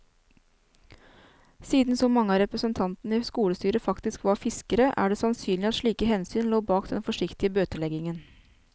Siden så mange av representantene i skolestyret faktisk var fiskere, er det sannsynlig at slike hensyn lå bak den forsiktige bøteleggingen.